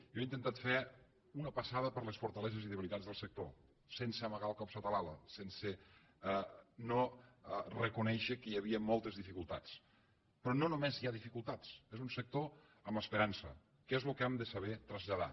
jo he intentat fer una passada per les fortaleses i debilitats del sector sense amagar el cap sota l’ala sense no reconèixer que hi havia moltes dificultats però no només hi ha dificultats és un sector amb esperança que és el que hem de saber traslladar